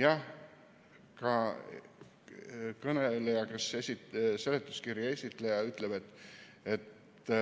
Jah, ka kõneleja, kes seletuskirja esitles, ütles, et